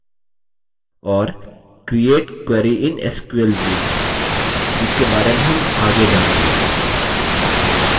और create query in sql view जिसके बारे में हम आगे जानेंगे